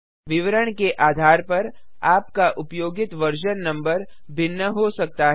विवरण के आधार पर आपका उपयोगित वर्जन नम्बर भिन्न हो सकता है